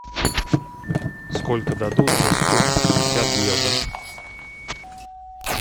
сколько дадут за сто пятьдесят евро